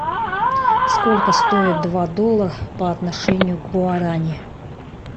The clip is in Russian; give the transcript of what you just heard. сколько стоит два доллара по отношению к гуарани